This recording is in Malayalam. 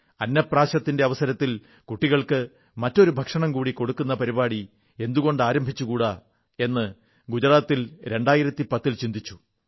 അന്നപ്രാശത്തിന്റെ അവസരത്തിൽ കുട്ടികൾക്ക് മറ്റൊരു ഭക്ഷണം കൂടി കൊടുക്കുന്ന പരിപാടി എന്തുകൊണ്ട് ആരംഭിച്ചുകൂടാ എന്ന് ഗുജറാത്ത് 2010 ൽ ചിന്തിച്ചു